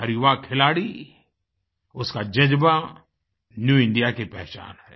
हर युवा खिलाड़ी उसकाजज़्बा न्यू इंडिया की पहचान है